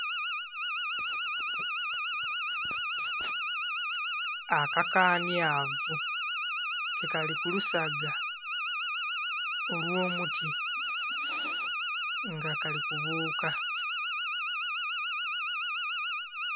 Akakanhyavu, ke kali ku lusaga olw'omuti. Nga kali kubuuka.